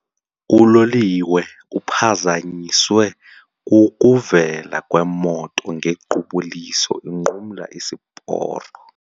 Uloliwe uphazanyiswe kukuvela kwemoto ngequbuliso inqumla isiporo.